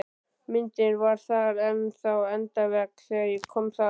Myndin var þar enn á endavegg þegar ég kom þar